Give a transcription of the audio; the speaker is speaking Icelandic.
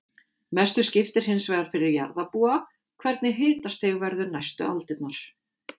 Mestu skiptir hins vegar fyrir jarðarbúa hvernig hitastig verður næstu aldirnar.